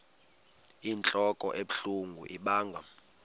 inentlok ebuhlungu ibanga